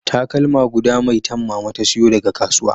Takalma guda maitan mama ta sayo daga kasuwa